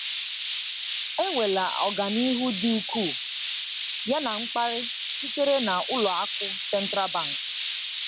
Enweela ọganihu dị ukwuu, yana mkpali sitere na Ụlọ akụ Central Bank.